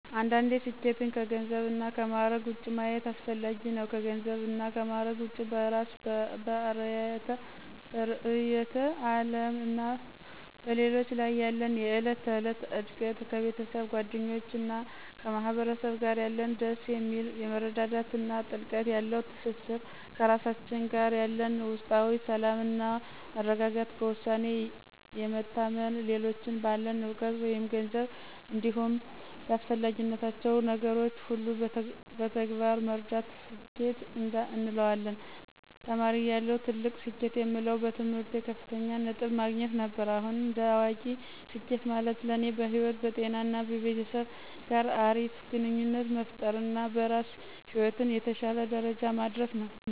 አንዳንዴ ስኬትን ከገንዘብ እና ከማዕረግ ውጭ ማየት አስፈጋጊ ነው። ከገንዘብ እና ማዕረግ ውጭ በእራስ፤ በርዕዮተ ዓለም እና በሌሎች ላይ ያለን የዕለት ተዕለት እድገት፣ ከቤተሰብ፤ ከጓደኞች እና ከማህበረሰብ ጋር ያለን ደስ የሚል የመረዳዳት እና ጥልቀት ያለው ትስስር፣ ከራሳችን ጋር ያለን ውስጣዊ ሰላም እና መረጋጋት፣ በውሳኔ የመታመን፣ ሌሎችን ባለን እውቀት መይም ገንዘብ እንዲሁም ባስፈለግናቸው ነገር ሁሉ በተግባር መርዳት ስኬት እንለዋለን። ተማሪ እያለሁ ትልቅ ስኬት የምለው በትምህርቴ ከፍተኛ ነጥብን ማግኘት ነበር። አሁን እንደ አዋቂ ስኬት ማለት ለኔ በህይወት፣ በጤና እና ቤተሰብ ጋር አሪፍ ግንኙነት መፍጠር እና በስራ ህይወት የተሸለ ደረጃ መድረስ ነው።